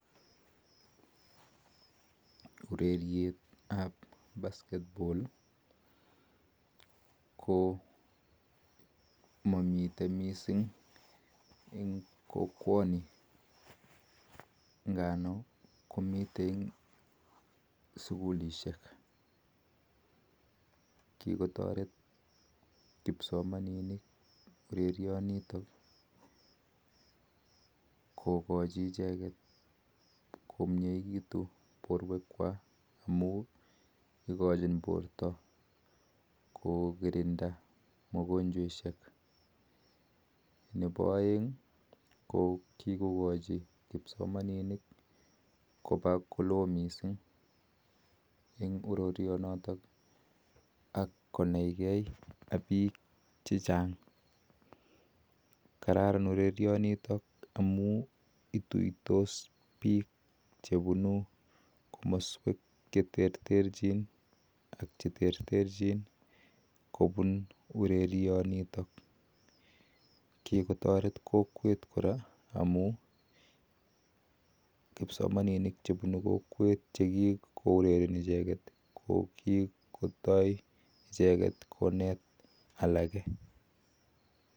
Urereyet ap basket baall ko mamitei misssing kokwanii ngaa noo ko mamitei sugulisheek nga noo kikokachi porta kokirinda mianwagik nepo aek kikokachi lagok konaii gee ak piik missing kikotaret kokwet kora amun kipsomanin chepuni kokwet ko kitoe konet misssing alage